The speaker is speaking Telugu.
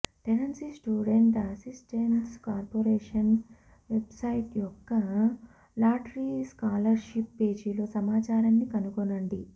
Tennessee student assistance corporation website యొక్క లాటరీ స్కాలర్షిప్ పేజీలో సమాచారాన్ని కనుగొనండి